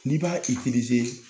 N'i b'a